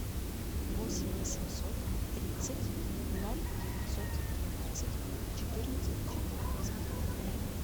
восемь восемьсот тридцать ноль девятьсот двенадцать четырнадцать четырнадцать